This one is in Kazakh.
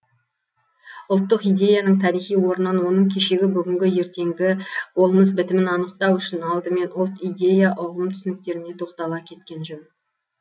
ұлттық идеяның тарихи орнын оның кешегі бүгінгі ертеңгі болмыс бітімін анықтау үшін алдымен ұлт идея ұғым түсініктеріне тоқтала кеткен жөн